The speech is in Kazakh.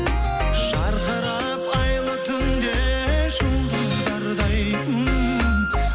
жарқырап айлы түнде жұлдыздардай ммм